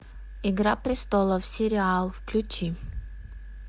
игра престолов сериал включи